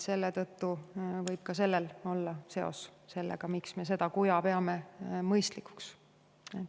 Selle tõttu me peame seda kuja mõistlikuks.